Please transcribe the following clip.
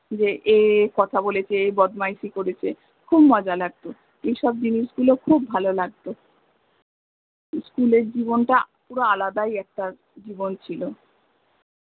এ এই কথা বলেছে এ এই বদমাইসি করেছে, খুব মজা লাগত, এই সব জিনিস গুলো খুব ভালো লাগত school এর জীবণটা পুরো আলাদাই একটা জীবণ ছিল